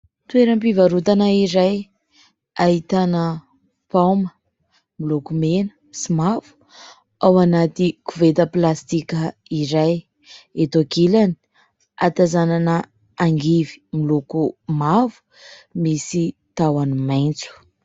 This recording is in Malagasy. Toeram-pivarotana iray ahitana paoma. Miloko mena sy mavo ao anaty koveta plastika iray. Eto ankilany ahatazanana angivy miloko mavo misy tahony maitso.